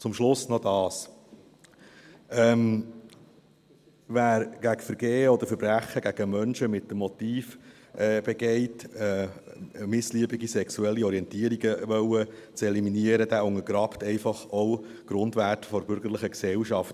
Zum Schluss noch dies: Wer Vergehen oder Verbrechen gegen Menschen mit dem Motiv begeht, missliebige sexuelle Orientierungen eliminieren zu wollen, der untergräbt einfach auch die Grundwerte der bürgerlichen Gesellschaft.